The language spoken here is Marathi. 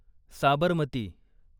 साबरमती